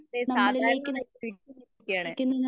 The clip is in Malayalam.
ദേ സാധാരണ വ്യ ക്തിയാണ്.